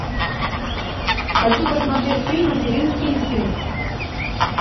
хочу посмотреть фильм материнский инстинкт